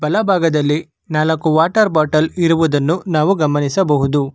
ಬಲ ಭಾಗದಲ್ಲಿ ನಾಲಕು ವಾಟರ್ ಬಾಟಲ ಇರುವುದನ್ನು ನಾವು ಗಮನಿಸಬಹುದು.